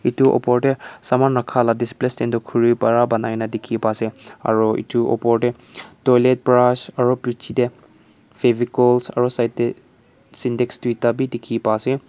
etu opor te saman rakha la display stand toh khuri para banai kena dikhi paa ase aru etu opor te toilet brush aru piche te fevicols aru side te sintex duita bi dikhi paa ase.